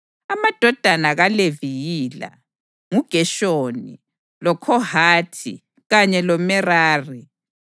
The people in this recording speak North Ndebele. Amadodana kaLevi yila: nguGeshoni, loKhohathi kanye loMerari.